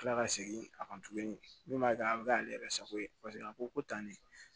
Kila ka segin a kan tuguni min b'a kɛ a bɛ k'ale yɛrɛ sago ye paseke a ko ko tan ne